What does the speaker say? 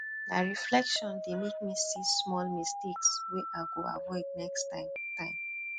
na reflection dey make me see small mistakes wey i go avoid next time time